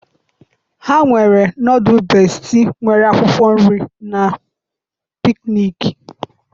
ha nwere nọdụlụ bestie nwere akwụkwọ nri na pikniki.